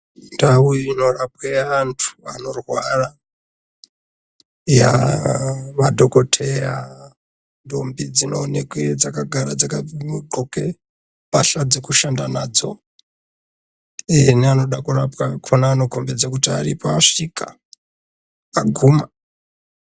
Ndau inorapwe antu anorwara madhokodheya ndombi dzinookwa dzakagara dzakadloka mbatya dzekushanda nadzo neanoda kurapwa akona anokombedza kuti aripo asvika aguma.